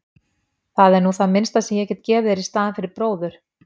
Það er nú það minnsta sem ég get gefið þér í staðinn fyrir bróður.